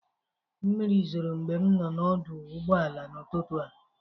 Mmiri zoro mgbe m nọ n'ọdụ ụgbọala n'ụtụtụ a.